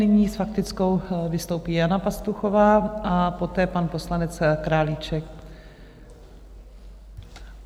Nyní s faktickou vystoupí Jana Pastuchová a poté pan poslanec Králíček.